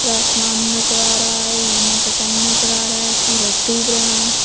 आसमान नज़र आ रहा है इवनिंग का टाइम नज़र आ रहा है सूरज डूब रहा है।